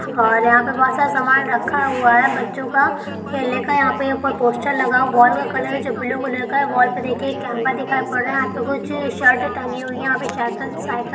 ओर यहा पे बहुत सारा सामान रखा हुआ है। बच्चों का खेलने का यहाँ पे ऊपर पोस्टर लगा हुआ वॉल का कलर है जो ब्लू कलर का है वॉल पे देखिए एक केमरा दिखाई पड़ रहा है कुछ सर्ट टंगी हुई है यहा प--